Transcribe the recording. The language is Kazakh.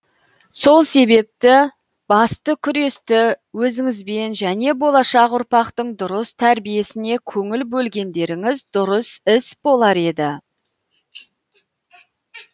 сол себепті басты күресті өзіңізбен және болашақ ұрпақтың дұрыс тәрбиесіне көңіл бөлгендеріңіз дұрыс іс болар еді